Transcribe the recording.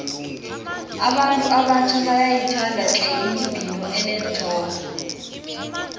abantu abatjha bayayithanda tle imibhino eneenthombe